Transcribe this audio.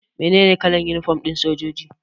Meye kalan yunifom ɗin sojoji?